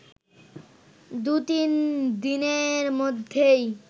দু-তিনদিনের মধ্যেই